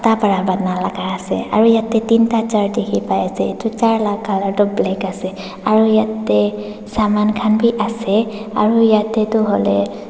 bana laga ase aro yatheh tinta chair dekhe pa ase etu chair la colour tuh black ase aro yatheh saman khan bhi ase aro yatheh tuh hohle--